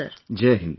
Jain Hind sir